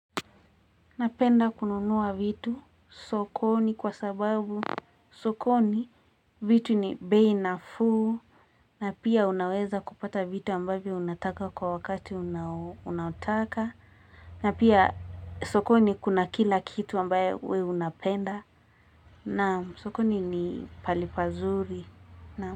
Napenda kununua vitu sokoni kwa sababu sokoni vitu ni beinafuu na pia unaweza kupata vitu ambavio unataka kwa wakati unataka na pia sokoni kuna kila kitu ambaye wewe unapenda na sokoni ni pahali pazuri na.